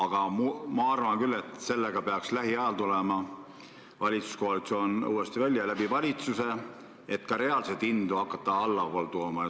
Samas ma arvan, et sellega peaks valitsuskoalitsioon lähiajal uuesti välja tulema, et valitsuse abil reaalseid hindu hakata allapoole tooma.